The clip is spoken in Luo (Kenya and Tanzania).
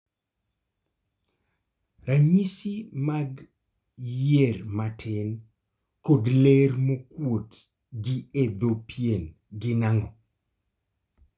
ranyisi mag yier matin kod ler mokuot gi e dho pien gin ang'o?